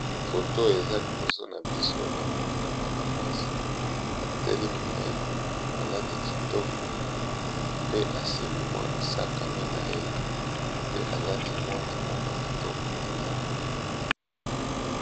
Photo eza liboso na biso namoni mwana mwasi ,atelemi na ye alati kitoko pe asimbi sakosh na ye pe alati pe ngonga moko ya kitoko mpenza.